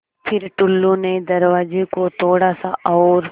फ़िर टुल्लु ने दरवाज़े को थोड़ा सा और